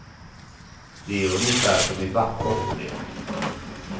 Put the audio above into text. Det är ungefär som i backhoppning.